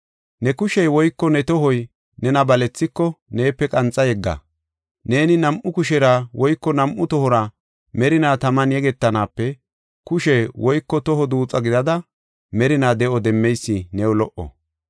“Ne kushey woyko ne tohoy nena balethiko neepe qanxa yegga. Neeni nam7u kushera woyko nam7u tohora merinaa taman yegetanaape kushe woyko toho duuxa gidada merinaa de7o demmeysi new lo77o.